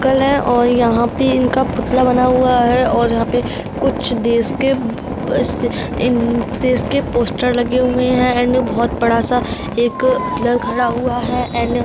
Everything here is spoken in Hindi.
अंकल है और यहाँ पे इनका पुतला बना हुआ है और यहाँ पे कुछ देश के पस इन देश के पोस्टर लगे हुए है एंड ये बहोत बड़ा सा एक पिलर खड़ा हुआ है एंड --